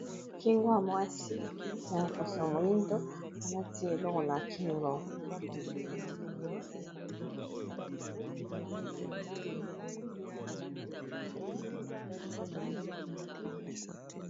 Kingo ya mwasi ya poso moyindo alati eloko na kingo.